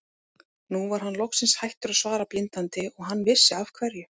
Nú var hann loksins hættur að svara blindandi og hann vissi af hverju.